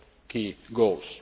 our key goals.